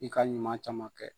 I ka ɲuman caman kɛ.